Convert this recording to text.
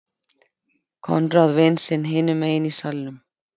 Konráð vin sinn hinum megin í salnum.